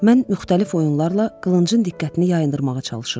Mən müxtəlif oyunlarla qılıncın diqqətini yayındırmağa çalışırdım.